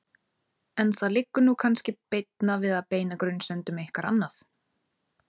En það liggur nú kannski beinna við að beina grunsemdum ykkar annað.